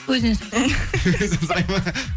өзінен сұра